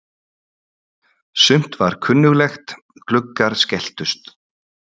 Sumt var kunnuglegt: Gluggar skelltust.